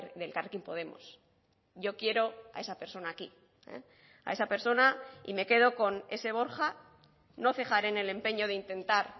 de elkarrekin podemos yo quiero a esa persona aquí a esa persona y me quedo con ese borja no cejaré en el empeño de intentar